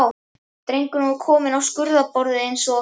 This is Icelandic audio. Drengurinn var þá kominn á skurðarborðið eins og